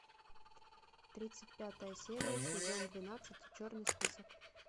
тридцать пятая серия сезон двенадцать черный список